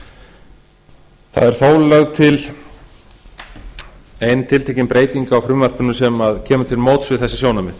það er þó lögð til ein tiltekin breyting á frumvarpinu sem kemur til móts við þessi sjónarmið